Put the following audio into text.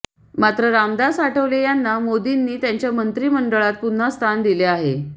मात्र रामदास आठवले यांना मोदींनी त्यांच्या मंत्री मंडळात पुन्हा स्थान दिले आहे